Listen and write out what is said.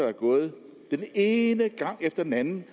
er gået den ene gang efter den anden